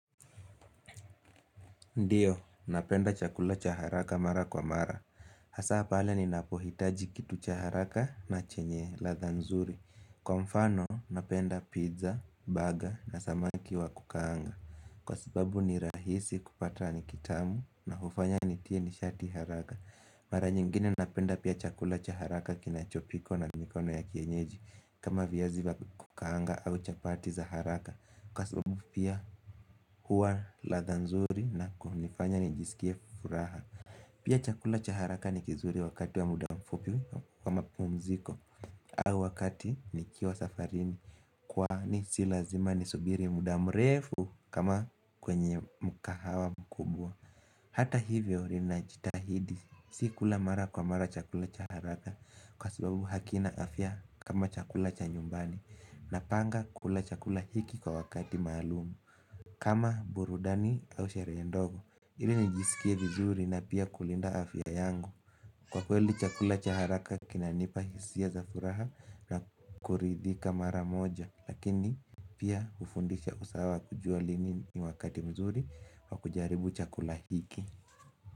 Ndiyo, napenda chakula cha haraka mara kwa mara, hasa pale ninapohitaji kitu cha haraka na chenye ladha nzuri. Kwa mfano, napenda pizza, burger na samaki wa kukaanga. Kwa sababu ni rahisi kupata ni kitamu na hufanya nitie nishati haraka Mara nyingine napenda pia chakula cha haraka kinachopikwa na mikono ya kienyeji kama viyazi vya kukaanga au chapati za haraka Kwa sababu pia huwa ladha nzuri na kunifanya nijisikie furaha. Pia chakula cha haraka ni kizuri wakati wa muda mfupi wa mapumziko au wakati nikiwa safarini kwani si lazima nisubiri muda mrefu kama kwenye mkahawa mkubwa hata hivyo ninajitahidi si kula mara kwa mara chakula cha haraka kwa sababu hakina afya kama chakula cha nyumbani. Napanga kula chakula hiki kwa wakati maalumu kama burudani au sherehe ndogo ili nijisikie vizuri na pia kulinda afya yangu Kwa kweli chakula cha haraka kinanipa hisia za furaha na kuridhika mara moja. Lakini pia hufundisha usawa kujua lini ni wakati mzuri wa kujaribu chakula hiki.